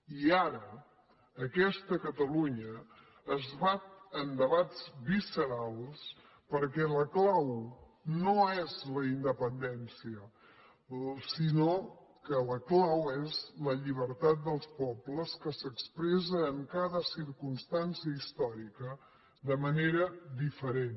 i ara aquesta catalunya es bat en debats viscerals perquè la clau no és la independència sinó que la clau és la llibertat dels pobles que s’expressa en cada circumstància històrica de manera diferent